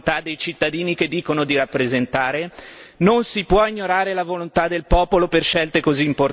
Perché ancora una volta le istituzioni europee non tengono conto della volontà dei cittadini che dicono di rappresentare?